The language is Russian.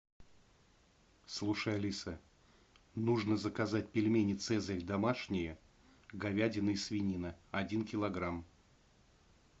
слушай алиса нужно заказать пельмени цезарь домашние говядина и свинина один килограмм